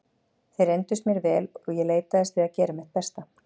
Þeir reyndust mér vel og ég leitaðist við að gera mitt besta.